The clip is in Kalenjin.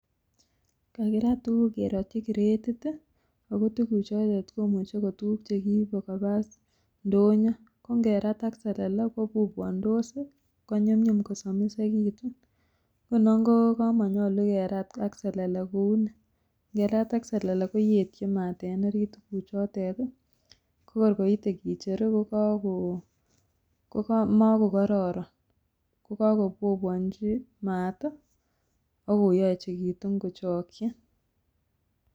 Kakirat tukuk kerotyii kiretit tii ako tukuk choton komuche ko tukuk chekiibe koba ndonyo ko nkerat ak selele koboboondos sii konyumyum kosomisekitum. Nguno komonyolu keratin ak selele kouni mkerat ak selele koyetyin mat en orit tukuchet tii ko korkoite kicheru ko kokoi komokokororon, ko kokoboboonchi mat tii ak koyechekitun kochoki